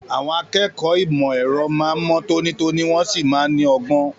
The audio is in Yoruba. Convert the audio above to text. Àwọn akẹ́kọ̀ọ́ ìmọ̀ ẹ̀rọ máa ń mọ́ tónítóní wọ́n sì máa ń ní ọgbọ́n.